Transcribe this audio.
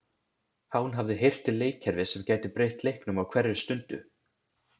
Hán hafði heyrt til leikkerfis sem gæti breytt leiknum á hverri stundu.